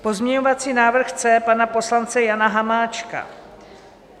Pozměňovací návrh C pana poslance Jana Hamáčka.